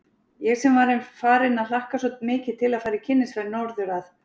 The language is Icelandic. Ég sem var farin að hlakka svo mikið til að fara í kynnisferð norður að